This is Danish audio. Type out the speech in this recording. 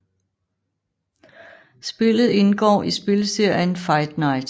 Spillet indgår i spilserien Fight Night